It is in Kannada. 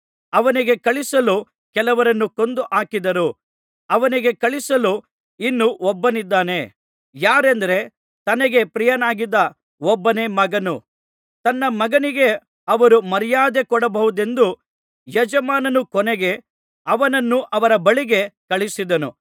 ಅವನಿಗೆ ಕಳುಹಿಸಲು ಇನ್ನು ಒಬ್ಬನಿದ್ದನು ಯಾರೆಂದರೆ ತನಗೆ ಪ್ರಿಯನಾಗಿದ್ದ ಒಬ್ಬನೇ ಮಗನು ತನ್ನ ಮಗನಿಗೆ ಅವರು ಮರ್ಯಾದೆ ಕೊಡಬಹುದೆಂದು ಯಜಮಾನನು ಕೊನೆಗೆ ಅವನನ್ನು ಅವರ ಬಳಿಗೆ ಕಳುಹಿಸಿದನು